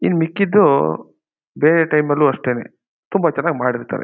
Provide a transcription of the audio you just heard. ಇನ್ನು ಮಿಕ್ಕಿದ್ದು ಬೇರೆ ಟೈಮ್ ಲ್ಲು ಅಷ್ಟೇನೆ ತುಂಬಾ ಚೆನ್ನಾಗಿ ಮಾಡಿರ್ತಾರೆ.